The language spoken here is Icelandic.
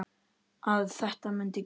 Að þetta mundi gerast.